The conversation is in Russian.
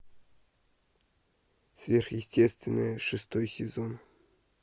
сверхъестественное шестой сезон